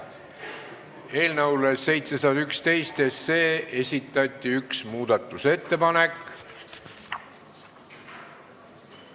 Eelnõu 711 kohta on esitatud üks muudatusettepanek.